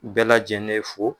Bɛɛ lajɛlen fo.